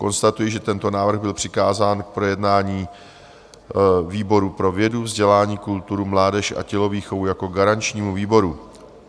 Konstatuji, že tento návrh byl přikázán k projednání výboru pro vědu, vzdělání, kulturu, mládež a tělovýchovu jako garančnímu výboru.